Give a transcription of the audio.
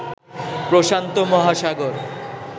প্রশান্ত মহাসাগর